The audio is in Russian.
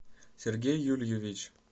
сергей юльевич